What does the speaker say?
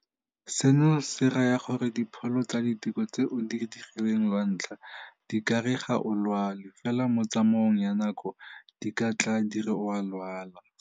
Seno se raya gore dipholo tsa diteko tse o di dirileng lwantlha di ka re ga o lwale, fela mo tsamaong ya nako di ka tla di re o a lwala.